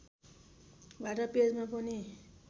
वार्ता पेजमा पनि